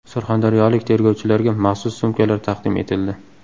Surxondaryolik tergovchilarga maxsus sumkalar taqdim etildi.